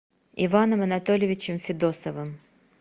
иваном анатольевичем федосовым